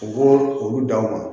U b'o olu d'aw ma